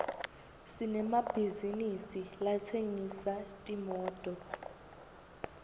sinemabhizisi latsengisa timoto